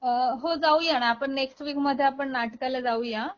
अ , हो जाऊयाना आपण नेक्स्ट वीक मध्ये आपण नाटकाला जाऊया